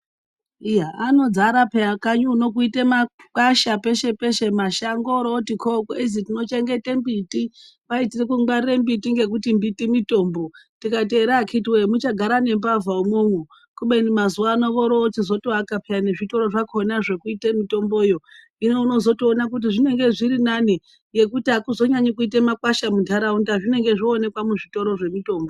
Iya anodzara pheya kanyi uno kuite makwasha peshe peshe kozi tinochengete mbiti kwai tiri kungwarire mbiti ngekuti hai mbiti mitombo tikati here akhiti nai muchagara nembavha umwonwo kubeni mazuwano voroochizotoaka nezvitoro zvakhona pheyani zvekuite mitomboyo hino unozotoona kuti zvinenge zviri nani ngekuti akuzonyanyi kuita makwasha muntaraunda zvinenge zvooneka muzvitoro zvemitombo.